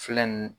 Filɛ nin